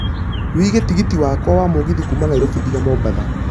wiĩge tigiti wakwa wa mũgithi kuuma nairobi nginya mombatha